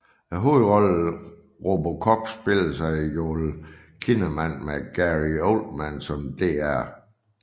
Hovedrollen RoboCop spilles af Joel Kinnaman med Gary Oldman som Dr